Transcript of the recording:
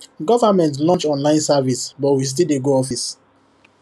government launch online service but we still dey go office